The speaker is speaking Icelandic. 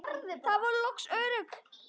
Þau voru loks örugg.